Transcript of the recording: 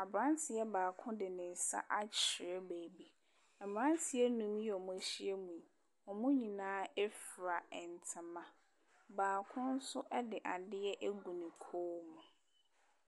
Aberanteɛ baako de ne nsa akyerɛ baabi. Mmeranteɛ nnum yi a wɔahyia mu yi, wɔn nyinaa fira ntama. Baako nso de adeɛ agu ne kɔn mu.